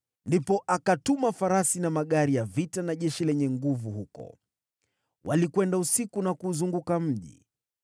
Ndipo akatuma farasi na magari ya vita na jeshi lenye nguvu huko. Walikwenda usiku na kuuzunguka mji.